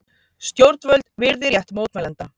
Stjórnvöld virði rétt mótmælenda